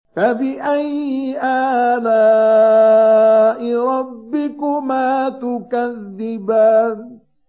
فَبِأَيِّ آلَاءِ رَبِّكُمَا تُكَذِّبَانِ